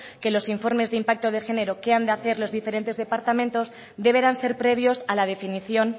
que los informes de impacto de género que han de hacer los diferentes departamentos deberán ser previos a la definición